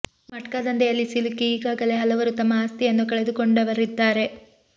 ಈ ಮಟ್ಕಾ ದಂಧೆಯಲ್ಲಿ ಸಿಲುಕಿ ಈಗಾಗಲೇ ಹಲವರು ತಮ್ಮ ಆಸ್ತಿಯನ್ನು ಕಳೆದುಕೊಂಡವರಿದ್ದಾರೆ